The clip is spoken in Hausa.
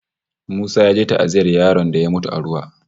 Musa ya je ta'aziyyar yaron da ya mutu a ruwa